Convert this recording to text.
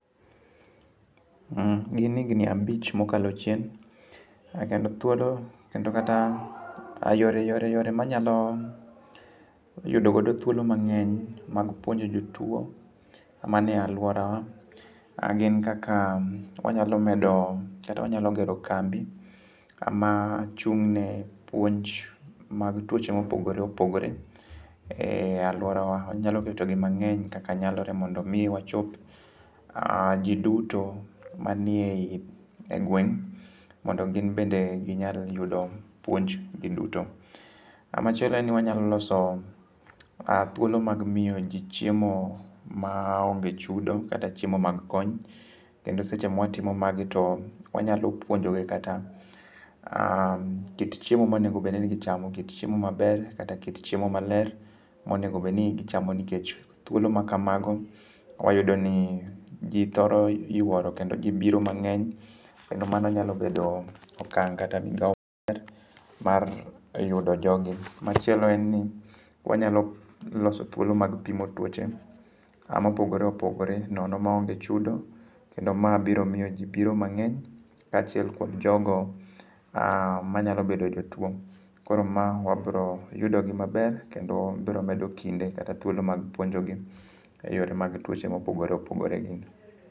Ma gin higni abich mokalo chien, kendo thuolo kendo kata yore yore yore manyalo yudogodo thuolo mang'eny mag puonjo jotuo manie alworawa, gin kaka wanyalo medo kata wanyalo gero kambi, kama chung'ne puonj mag tuoche mopogore opogore e alworawa. Wanyalo ketogi mang'eny kaka nyalore mondo mi wachop ji duto manie gweng' mondo gin bende ginyal yudo puonj gi duto. Kamachielo en ni wanyalo thuolo mag miyo ji chiemo maonge chudo kata chiemo mag mag kony. Kendo seche mwatimo magi to wanyalo puonjogi kata kit chiemo monegobedni gichamo kit chiemo maber kata kit chiemo maler monegobedni gicham nikech thuolo makamago, wayudo ni ji thoro yuoro kendo ji biro mang'eny. Kendo mano nyalo bedo okang' kata migao maber mar yudo jogi. Machielo en ni wanyalo loso thuolo mag pimo tuoche mopogore opogore nono maonge chudo. Kendo ma biro miyo ji biro mang'eny kaachiel kuom jogo manyalo bedo jotuo. Koro ma wabro yudogi maber kendo bro medo kinde kata thuolo mag puonjogi e yore mag tuoche mopogore opogore gi.